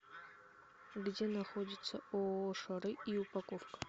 где находится ооо шары и упаковка